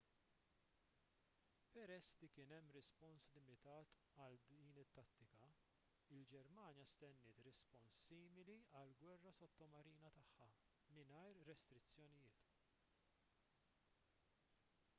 peress li kien hemm rispons limitat għal din it-tattika il-ġermanja stenniet rispons simili għall-gwerra sottomarina tagħha mingħajr restrizzjonijiet